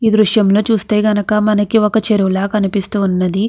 ఈ దృశ్యం లో చూస్తే కనక మనకి ఒక చెరువు లా కనిపిస్తూ ఉన్నది.